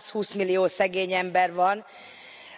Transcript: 120 millió szegény ember van,